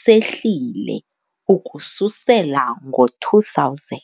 sehlile ukususela ngo-2000.